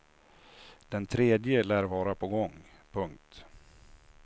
Den tredje lär vara på gång. punkt